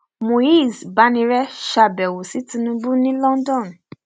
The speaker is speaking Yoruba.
muiz banire ṣàbẹwò sí tinubu ní london